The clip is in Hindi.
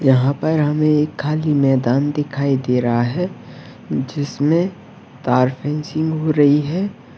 यहाँ पर हमें एक खाली मैदान दिखाई दे रहा हैं जिसमें तारपिन चीम वु रही है।